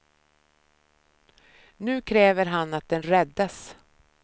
Nu kräver han att den räddas.